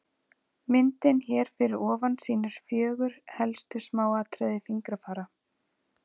Myndin hér fyrir ofan sýnir fjögur helstu smáatriði fingrafara.